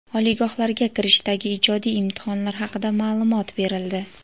Oliygohlarga kirishdagi ijodiy imtihonlar haqida ma’lumot berildi.